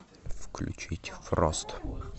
включить фрост